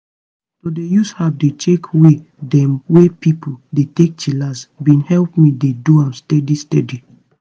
to dey use app dey check way dem wey pipo dey take chillax bin help me dey do am steady steady.